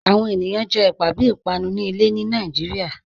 Awọn ènìyàn jẹ ẹ̀pà bí ìpànù ni ilẹ̀ ní Nàìjíríà